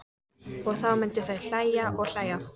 Og þá myndu þau hlæja og hlæja.